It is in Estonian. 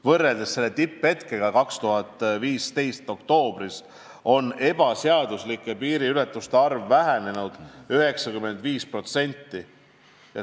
Võrreldes tippajaga 2015. aasta oktoobris on ebaseaduslike piiriületuste arv vähenenud 95%.